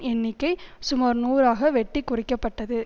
எண்ணிக்கை சுமார் நூறு ஆக வெட்டி குறைக்கப்பட்டது